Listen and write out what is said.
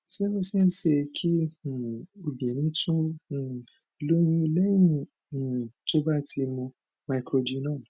ṣé ó ṣeé ṣe kí um obìnrin tun um lóyún lẹyìn um tó bá ti mu microgynon